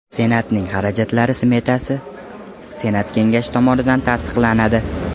Senatning xarajatlari smetasi Senat Kengashi tomonidan tasdiqlanadi.